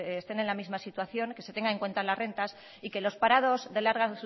estén en la misma situación que se tenga en cuenta las rentas y que los parados de larga